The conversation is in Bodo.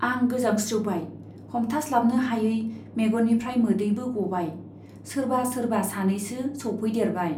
आं गोजांस्रिउबाय , हमथास्लाबनो हायै मेगननिफ्राइ मोदैबो गबाय सोरबा सोरबा सानैसो सौफैदेरबाय।